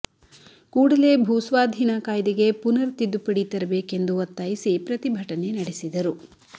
ಕೂಡಲೇ ಭೂ ಸ್ವಾಧೀನ ಕಾಯ್ದೆಗೆ ಪುನರ್ ತಿದ್ದುಪಡಿ ತರಬೇಕೆಂದು ಒತ್ತಾಯಿಸಿ ಪ್ರತಿಭಟನೆ ನಡೆಸಿದರು